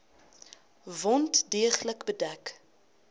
wond deeglik bedek